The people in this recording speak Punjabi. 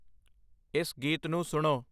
ਇਸ ਗੀਤ ਨੂੰ ਸੁਣੋ